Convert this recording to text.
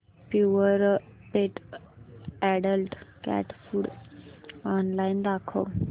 Purepet adult cat food online दाखव